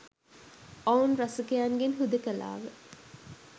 ඔවුන් රසිකයන්ගෙන් හුදකලා ව